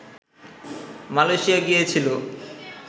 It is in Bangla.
মালয়েশিয়া গিয়েছিল